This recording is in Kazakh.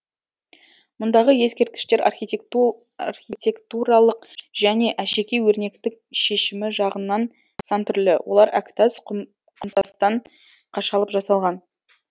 мұндағы ескерткіштер архитектуралық және әшекей өрнектік шешімі жағынан сан түрлі олар әктас құмтастан қашалып жасалған